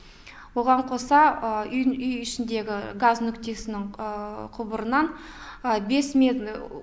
оған қоса үйдің үй ішіндегі газ нүктесінің құбырынан бес мет